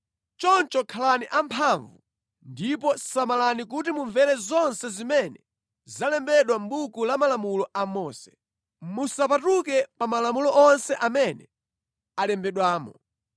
“Choncho khalani amphamvu, ndipo samalani kuti mumvere zonse zimene zalembedwa mʼbuku la malamulo a Mose. Musapatuke pa malamulo onse amene alembedwamo.